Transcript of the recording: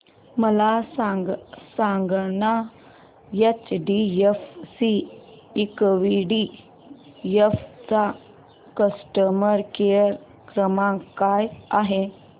मला सांगाना HDFC equity fund चा कस्टमर केअर क्रमांक काय आहे